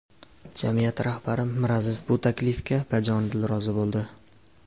Jamiyat rahbari Miraziz bu taklifga bajonidil rozi bo‘ldi.